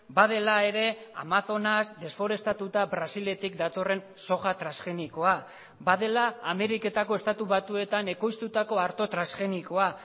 badela ere amazonas desforestatuta brasiletik datorren soja transgenikoa badela ameriketako estatu batuetan ekoiztutako arto transgenikoa